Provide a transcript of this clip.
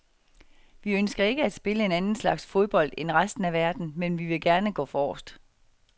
Vi ønsker ikke at spille en anden slags fodbold end resten af verden, men vi vil gerne gå forrest.